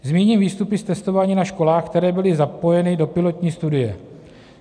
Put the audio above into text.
Zmíním výstupy z testování na školách, které byly zapojeny do pilotní studie.